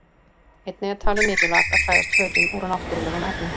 Einnig er talið mikilvægt að klæðast fötum úr náttúrulegum efnum.